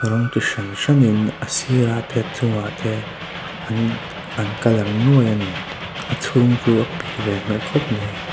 rawng ti hran hranin a sirah te a chungah te an an colour nuaih ani a chhung chu a pik ve hmel khawp mai.